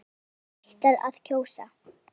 Breki: Hvað ætlarðu að kjósa?